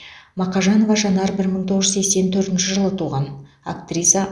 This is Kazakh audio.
мақажанова жанар бір мың тоғыз жүз сексен төртінші жылы туған актриса